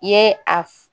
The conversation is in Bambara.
I ye a f